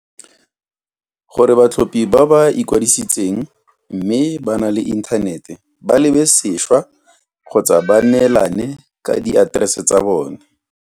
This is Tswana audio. Gore batlhophi ba ba ikwadisitseng mme ba na le inthanete ba lebesešwa kgotsa ba neelane ka diaterese tsa bone.